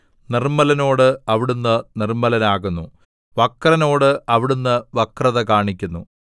നിർമ്മലനോട് അവിടുന്ന് നിർമ്മലനാകുന്നു വക്രനോട് അവിടുന്ന് വക്രത കാണിക്കുന്നു